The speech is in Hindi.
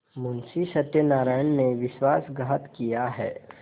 मुंशी सत्यनारायण ने विश्वासघात किया है